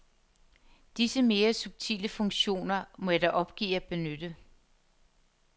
Disse mere subtile funktioner må jeg dog opgive at benytte.